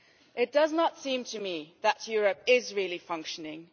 It does not seem to me that Europe is really functioning.